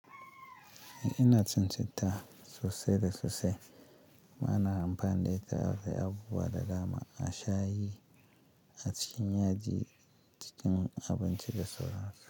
Ina cin citta sosai da sosai. Ba na amfani da ita a kai abu ba da dama. A sha yi a cikin yaji cikin abinci da sauransu.